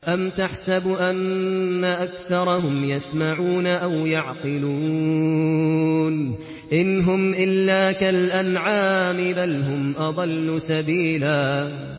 أَمْ تَحْسَبُ أَنَّ أَكْثَرَهُمْ يَسْمَعُونَ أَوْ يَعْقِلُونَ ۚ إِنْ هُمْ إِلَّا كَالْأَنْعَامِ ۖ بَلْ هُمْ أَضَلُّ سَبِيلًا